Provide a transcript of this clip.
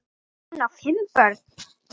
Hún á fimm börn.